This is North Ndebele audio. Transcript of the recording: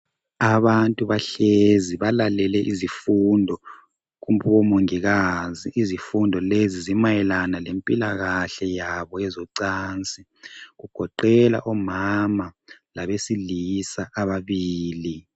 Abantu bahlezi balalele izifundo kubomongikazi. Izifundo lezi zimayelana lempilakahle yabo yezocansi. Kugoqela omama labesilisa ababili.